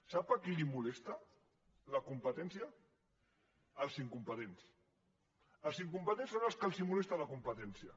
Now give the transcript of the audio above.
sap a qui li molesta la competència als incompetents als incompetents és als que els molesta la competència